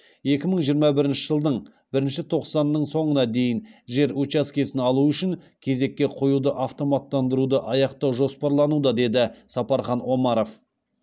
екі мың жиырма бірінші жылдың бірінші тоқсанының соңына дейін жер учаскесін алу үшін кезекке қоюды автоматтандыруды аяқтау жоспарлануда деді сапархан омаров